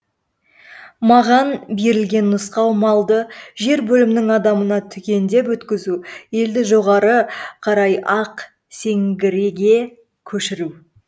маған берілген нұсқау малды жер бөлімінің адамына түгендеп өткізу елді жоғары қарай ақсеңгірге көшіру